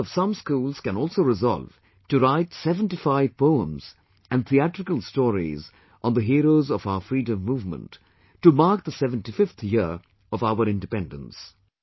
Students of some schools can also resolve to write 75 poems and theatrical stories on the heroes of our freedom movement to mark the 75th year of our independence